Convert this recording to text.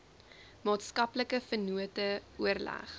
maatskaplike vennote oorleg